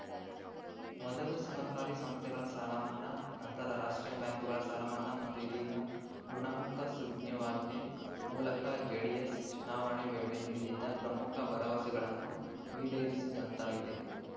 ಮೊದಲು ಸಹಕಾರಿ ಸಂಸ್ಥೆಗಳ ಸಾಲಮನ್ನಾ ನಂತರ ರಾಷ್ಟ್ರೀಯ ಬ್ಯಾಂಕುಗಳ ಸಾಲಮನ್ನಾ ಮತ್ತು ಇದೀಗ ಋುಣಮುಕ್ತ ಸುಗ್ರೀವಾಜ್ಞೆ ಮೂಲಕ ಜೆಡಿಎಸ್‌ ಚುನಾವಣೆ ವೇಳೆ ನೀಡಿದ್ದ ಪ್ರಮುಖ ಭರವಸೆಗಳನ್ನು ಈಡೇರಿಸಿದಂತಾಗಿದೆ